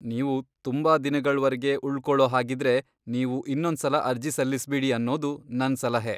ನೀವು ತುಂಬಾ ದಿನಗಳ್ವರ್ಗೆ ಉಳ್ಕೊಳೋ ಹಾಗಿದ್ರೆ, ನೀವು ಇನ್ನೊಂದ್ಸಲ ಅರ್ಜಿ ಸಲ್ಲಿಸ್ಬಿಡಿ ಅನ್ನೋದು ನನ್ ಸಲಹೆ.